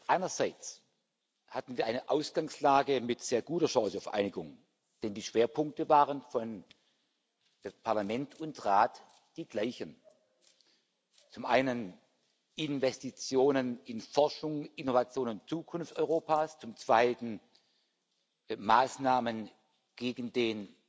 Einerseits hatten wir eine Ausgangslage mit sehr guter Chance auf Einigung, denn die Schwerpunkte waren für das Parlament und den Rat die gleichen zum Ersten Investitionen in Forschung, Innovation und Zukunft Europas, zum Zweiten Maßnahmen gegen den